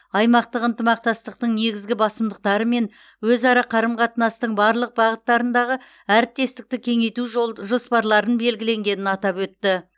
аймақтық ынтымақтастықтың негізгі басымдықтары мен өзара қарым қатынастың барлық бағыттарындағы әріптестікті кеңейту жолд жоспарларын белгіленгенін атап өтті